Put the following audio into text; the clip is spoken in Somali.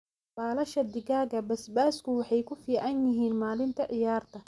baalasha digaaga basbaasku waxay ku fiican yihiin maalinta ciyaarta.